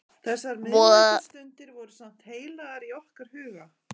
Þessar miðnæturstundir voru samt heilagar í okkar huga.